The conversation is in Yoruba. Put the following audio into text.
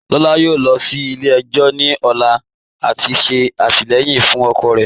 Lọlá yọ̀ọ̀ lọ sí ilẹ̀-ẹjọ̀ ni ọ̀lá lati ṣe atilẹyin fun ọkọ rẹ.